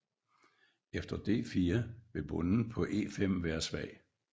Efter d4 vil bonden på e5 være svag